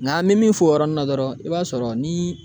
Nka an mɛ min fɔ o yɔrɔnin na dɔrɔn i b'a sɔrɔ ni